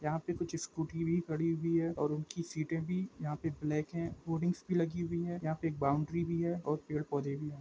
यहाँ पे कुछ स्कूटी भी खड़ी हुई है और उनकी सीटें भी यहाँ पे ब्लैक है होर्डिंग्स भी लगी हुई है यहाँ पे एक बॉउंड्री भी है और पेड़ पौधे भी।